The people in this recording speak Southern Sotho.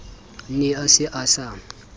ne e se e sa